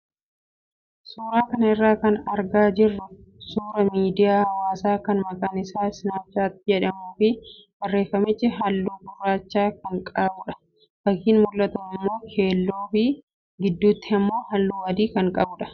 Suuraa kana irraa kan argaa jirru suuraa miidiyaa hawaasaa kan maqaan isaa "Snapchat" jedhamuu fi barreeffamichi halluu gurraacha kan qabudha. Fakkiin mul'atu immoo keelloo fi gidduutti immoo halluu adii kan qabudha.